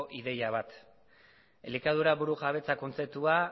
ideia bat elikadura burujabetza kontzeptua